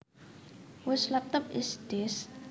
Whose laptop is this